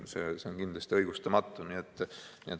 See on kindlasti õigustamatu.